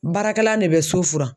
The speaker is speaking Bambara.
Baarakɛlan ne bɛ so furan.